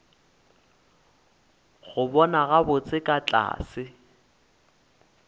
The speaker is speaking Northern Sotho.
go bona gabotse ka tlase